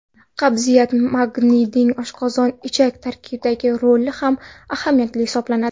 Qabziyat Magniyning oshqozon ichak traktidagi roli ham ahamiyatli hisoblanadi.